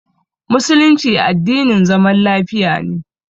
Musulunci addinin zaman lafiya ne.